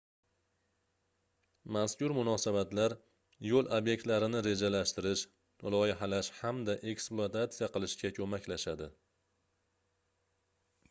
mazkur munosabatlar yoʻl obyektlarini rejalashtirish loyihalash hamda eksplutatsiya qilishga koʻmaklashadi